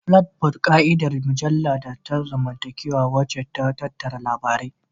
Flipboard, ƙa'idar mujallu ta zamantakewa wacce ta tattara labarai.